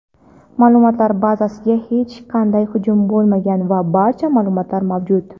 ma’lumotlar bazasiga hech qanday hujum bo‘lmagan va barcha ma’lumotlar mavjud.